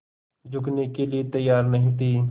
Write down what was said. झुकने के लिए तैयार नहीं थे